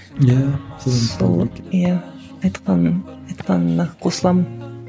иә сол иә айтқаның айтқаныңа қосыламын